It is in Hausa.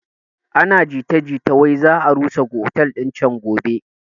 Ana jita jita wai za a rusa otel din can gobe